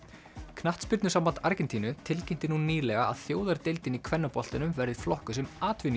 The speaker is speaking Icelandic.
knattspyrnusamband Argentínu tilkynnti nú nýlega að þjóðardeildin í kvennaboltanum verði flokkuð sem